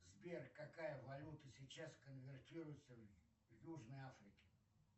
сбер какая валюта сейчас конвертируется в южной африке